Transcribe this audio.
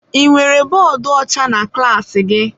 Ị nwere bọọdụ ọcha na klaasị gị?